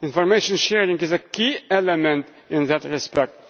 Information sharing is a key element in that respect.